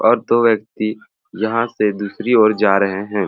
और दो व्यक्ति यहाँ से दूसरी ओर जा रहे हैं।